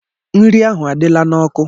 Nri ahụ adịla n'ọkụ.